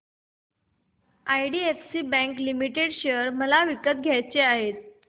IDFC bank limited share मला विकत घ्यायचे आहेत